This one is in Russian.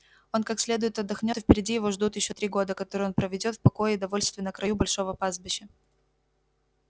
он как следует отдохнёт и впереди его ждут ещё три года которые он проведёт в покое и довольстве на краю большого пастбища